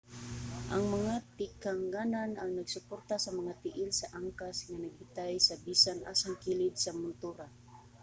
ang mga tikanganan ang nagsuporta sa mga tiil sa angkas nga nagbitay sa bisan asang kilid sa montura